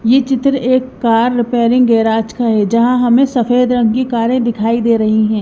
यह चित्र एक कार रिपेयरिंग गैरेज का है जहां हमें सफेद रंग की कारें दिखाई दे रही हैं।